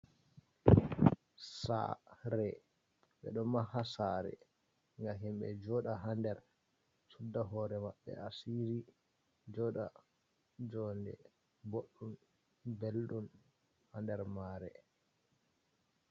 Sare, ɓeɗo maha sare nga himɓe joɗa ha nder sudda hore maɓɓe asiri joɗa jonde boɗɗum belɗum ha nder mare.